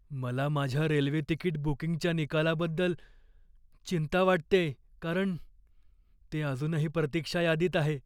मला माझ्या railway ticket बुकिंगच्या निकालाबद्दल चिंता वाटतेय कारण ते अजूनही प्रतीक्षा यादीत आहे.